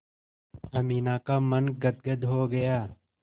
अमीना का मन गदगद हो गया